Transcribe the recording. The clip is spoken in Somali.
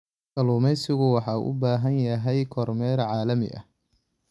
Kalluumaysigu waxa uu u baahan yahay kormeer caalami ah.